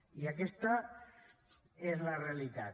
i aquesta és la realitat